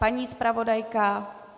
Paní zpravodajka?